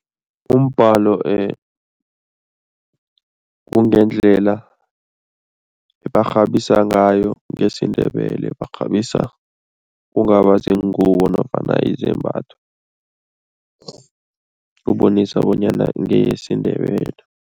Umbhalo kungendlela barhabisa ngayo ngesiNdebele barhabisa kungaba ziingubo nofana izembatho, kubonisa bonyana ngeyesiNdebele.